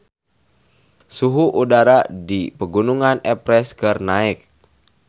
Suhu udara di Pegunungan Everest keur naek